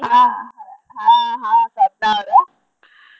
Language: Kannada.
ಆ ಹಾ ಹಾ ಸಾಧ್ನ ಅವ್ರ?